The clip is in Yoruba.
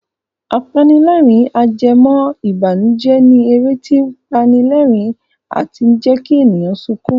Apanilẹ́rìn-ajẹmọ́ìbànùjẹ́ ni eré tí ó pani lerin and jẹ́kí èèyàn sunkún